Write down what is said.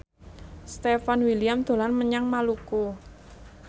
Stefan William dolan menyang Maluku